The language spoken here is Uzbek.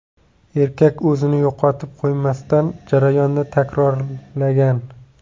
Erkak o‘zini yo‘qotib qo‘ymasdan, jarayonni takrorlagan.